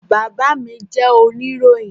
Bàbá mí jẹ́ oníròyìn